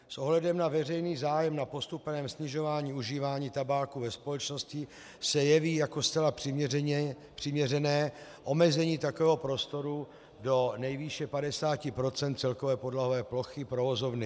S ohledem na veřejný zájem na postupném snižování užívání tabáku ve společnosti se jeví jako zcela přiměřené omezení takového prostoru do nejvýše 50 % celkové podlahové plochy provozovny.